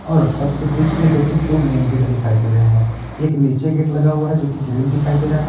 और सबसे बीच में दो कि दो मेन गेट दिखाई दे रहे हैं एक नीचे गेट लगा हुआ है जोकि ग्रिल दिखाई दे रहा है।